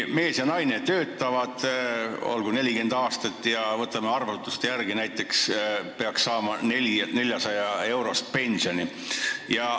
Oletame, et mees ja naine töötavad näiteks 40 aastat ja arvutuste järgi peaks saama 400-eurost pensioni.